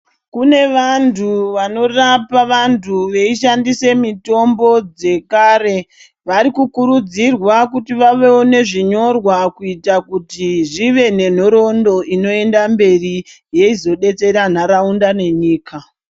Kune vantu vanorapa vantu veishandise mitombo dzekare varikukuridzirwa kuti vave nezvinyorwa kuita kuti zvive nenhoroondo inoenda mberi yeizodetsera nharaunda nenyika.